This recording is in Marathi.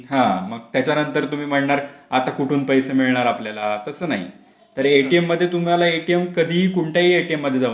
हा मग त्याच्यानंतर तुम्ही म्हणणार आता कुठून पैसे मिळणार आपल्याला तसं नाही तर एटीएम मध्ये तुम्हाला एटीएम कधी कोणत्याही एटीएम